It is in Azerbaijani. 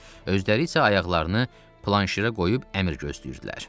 Özləri isə ayaqlarını planşirə qoyub əmr gözləyirdilər.